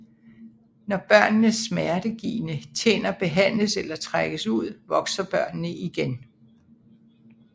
Når børnenes smertegivende tænder behandles eller trækkes ud vokser børnene igen